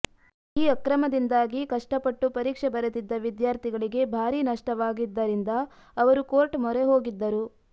ಈ ಅಕ್ರಮದಿಂದಾಗಿ ಕಷ್ಟಪಟ್ಟು ಪರೀಕ್ಷೆ ಬರೆದಿದ್ದ ವಿದ್ಯಾರ್ಥಿಗಳಿಗೆ ಭಾರೀ ನಷ್ಟವಾಗಿದ್ದರಿಂದ ಅವರು ಕೋರ್ಟ್ ಮೊರೆ ಹೋಗಿದ್ದರು